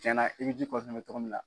Cɛnna i bɛ ji cogo min na.